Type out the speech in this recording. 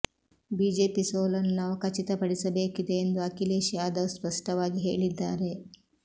BJP ಸೋಲನ್ನು ನಾವು ಖಚಿತಪಡಿಸಬೇಕಿದೆ ಎಂದು ಅಖಿಲೇಶ್ ಯಾದವ್ ಸ್ಪಷ್ಟವಾಗಿ ಹೇಳಿದ್ದಾರೆ